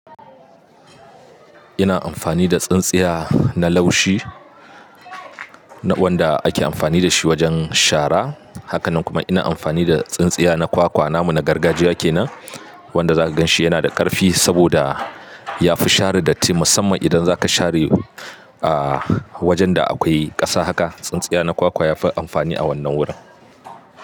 Ina amfani da tsintsiya na laushi wanda ake amfani da shi wajen shara. Hakanan kuma ina amfani da tsintsiya na kwakwa. Namu na gargajiya kenan wanda zaka gan shi yana da ƙarfi saboda yafi share datti musamman idan zaka share wajan da akwai ƙasa haka. Tsintsiya na kwakwa yafi amfani a wannan wurin.